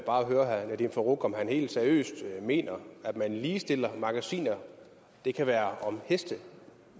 bare høre herre nadeem farooq om han helt seriøst mener at man ligestiller magasiner der kan være et om heste